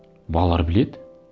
балалар біледі